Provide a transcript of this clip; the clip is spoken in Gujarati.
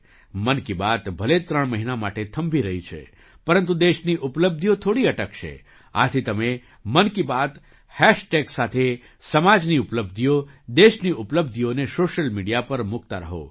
મન કી બાત ભલે ત્રણ મહિના માટે થંભી રહી છે પરંતુ દેશની ઉપલબ્ધિઓ થોડી અટકશે આથી તમે મન કી બાત હૅશટૅગ સાથે સમાજની ઉપલબ્ધિઓ દેશની ઉપલબ્ધિઓને સૉશિયલ મીડિયા પર મૂકતા રહો